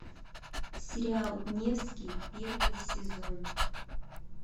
сериал невский первый сезон